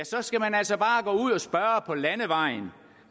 så skal man altså bare gå ud og spørge på landevejen